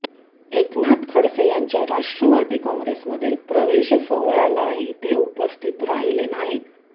एकनाथ खडसे यांच्या राष्ट्रवादी काँग्रेसमधील प्रवेश सोहळ्यालाही ते उपस्थित राहिले नाहीत